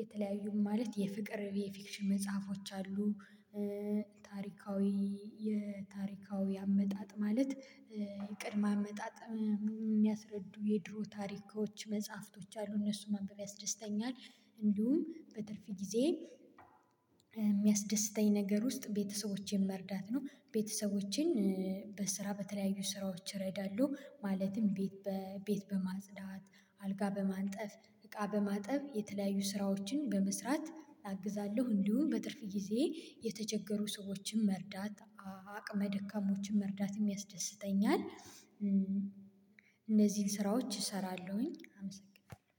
የተለያዩ ማለት የፍቅር የፊክሽን መጽሐፎች አሉ። ታሪካዊ የታሪካዊ አመጣጥ ማለት የቅድመ አመጣጥ እሚያስረዱ የድሮ ታሪኮች መጽሐፍቶች አሉ እነሱን ማንበብ ያስደስተኛል። እንዲሁም በትርፍ ጊዜ የሚያስደስተኝ ነገር ውስጥ ቤተሰቦቼን መርዳት ነው። ቤተሰቦቼን በስራ በተለያዩ ስራዎች እረዳለሁ ማለትም ቤት ቤት በማጽዳት አልጋ በማንጠፍ እቃ በማጠብ የተለያዩ ስራዎችን በመስራት አግዛለሁ። እንዲሁም በትርፍ ጊዜየ የተቸገሩ ሰዎችን መርዳት አቅመ ደካማዎችን መርዳትም ያስደስተኛል። እነዚህን ስራዎች እሰራለሁኝ አመሰግናለሁ።